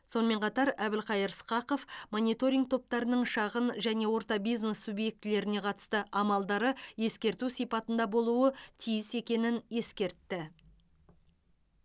сонымен қатар әбілқайыр сқақов мониторинг топтарының шағын және орта бизнес субъектілеріне қатысты амалдары ескерту сипатында болуы тиіс екенін ескертті